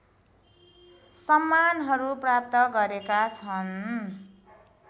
सम्मानहरु प्राप्त गरेका छन्